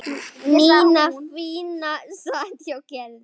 Nína fína sat hjá Gerði.